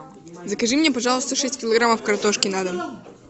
закажи мне пожалуйста шесть килограммов картошки на дом